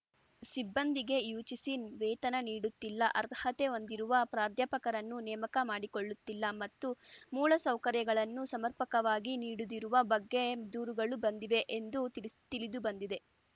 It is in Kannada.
ಸಿಬ್ಬಂದಿಗೆ ಯುಜಿಸಿ ವೇತನ ನೀಡುತ್ತಿಲ್ಲ ಅರ್ಹತೆ ಹೊಂದಿರುವ ಪ್ರಾಧ್ಯಾಪಕರನ್ನು ನೇಮಕ ಮಾಡಿಕೊಳ್ಳುತ್ತಿಲ್ಲ ಮತ್ತು ಮೂಲ ಸೌಕರ್ಯಗಳನ್ನು ಸಮರ್ಪಕವಾಗಿ ನೀಡದಿರುವ ಬಗ್ಗೆ ದೂರುಗಳು ಬಂದಿವೆ ಎಂದು ತಿಳಿಸ್ ತಿಳಿದುಬಂದಿದೆ